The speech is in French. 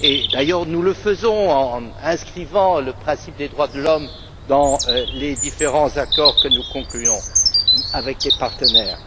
D'ailleurs, nous le faisons en inscrivant le principe des droits de l'homme dans les différents accords que nous concluons avec des partenaires.